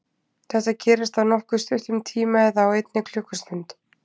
Þetta gerist á nokkuð stuttum tíma eða á einni klukkustund.